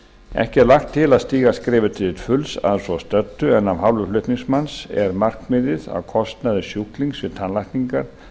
ekki er lagt til að stíga skrefið til fulls að svo stöddu en af hálfu flutningsmanns er markmiðið að kostnaður sjúklings við tannlækningar